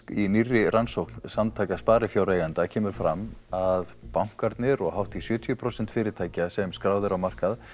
í nýrri rannsókn samtaka sparifjáreigenda kemur fram að bankarnir og hátt í sjötíu prósent fyrirtækja sem skráð eru á markað